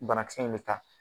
Banakisɛ in bɛ taa